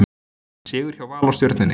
Sigur hjá Val og Stjörnunni